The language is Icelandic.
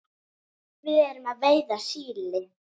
Við erum að veiða síli.